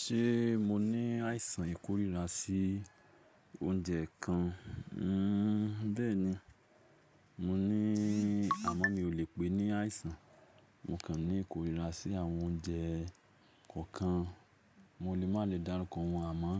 Ṣé mo ní àìsàn ìkórìíra sí oúnjẹ kan? Hmm bẹ́ẹ̀ni, mo ní àmọ́ mi ò lè pè é ní àìsàn. Mo kàn ní ìkórìíra sí àwọn oúnjẹ kọ̀ọ̀kan. Mo lè má lè dárúkọ wọ́n àmọ́